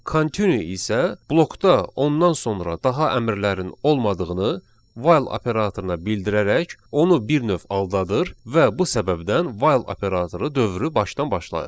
Continue isə blokda ondan sonra daha əmrlərin olmadığını while operatoruna bildirərək onu bir növ aldadır və bu səbəbdən while operatoru dövrü başdan başlayır.